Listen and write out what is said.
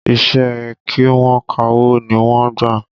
Iṣẹ́ ẹ kí wọ́n kawó ni wọ́n gbà